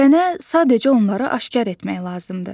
Sənə sadəcə onları aşkar etmək lazımdır.